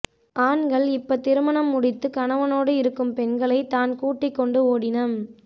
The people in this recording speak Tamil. ஆண்கள் இப்ப திருமணம் முடித்து கணவனோடு இருக்கும் பெண்களைத் தான் கூட்டிக் கொண்டு ஓடினம்